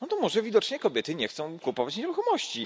No to może widocznie kobiety nie chcą kupować nieruchomości.